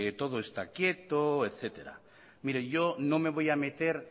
todo está quieto etcétera mire yo no me voy a meter